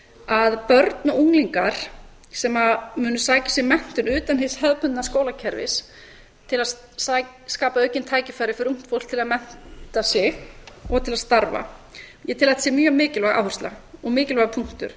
að börn og unglingar sem munu sækja sér menntun utan hins hefðbundna skólakerfis til að skapa aukin tækifæri fyrir ungt fólk til að mennta sig og til að starfa ég tel að þetta sé mjög mikilvæg áhersla og mikilvægur punktur